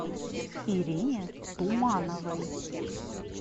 ирине тумановой